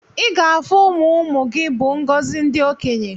Iga afu ụmụmụ gi bu ngozi ndi okenye.